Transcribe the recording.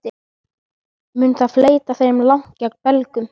Mun það fleyta þeim langt gegn Belgum?